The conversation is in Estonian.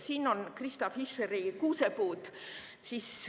Siin on Krista Fischeri kuusepuud.